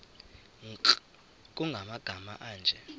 nkr kumagama anje